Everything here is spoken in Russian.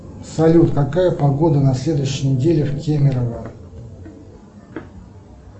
салют какая погода на следующей неделе в кемерово